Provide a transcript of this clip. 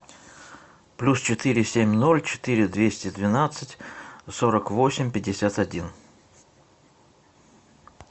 плюс четыре семь ноль четыре двести двенадцать сорок восемь пятьдесят один